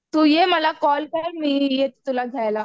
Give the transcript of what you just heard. तू ये मला कॉल कर मी येते तुला घ्यायला.